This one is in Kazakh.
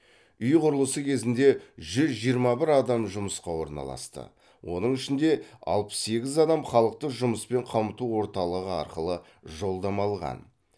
үй құрылысы кезінде жүз жиырма бір адам жұмысқа орналасты оның ішінде алпыс сегіз адам халықты жұмыспен қамту орталығы арқылы жолдама алған